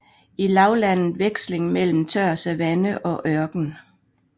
I lavlandet veksling mellem tør savanne og ørken